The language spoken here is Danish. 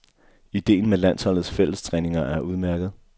Idéen med landsholdets fællestræninger er udmærket.